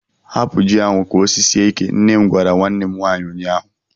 Hapụ ji ahụ ka o sisie ike! nne m gwara nwanne m nwaanyị ụnyaahụ.